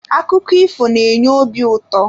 Akụkọ ifo na-enye obi ụtọ.